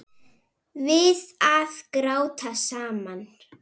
Við að gráta saman.